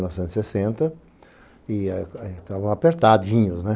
novecentos e sessenta. E a gente tava apertadinho, né?